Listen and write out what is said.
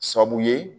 Sabu ye